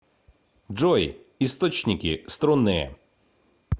джой источники струнные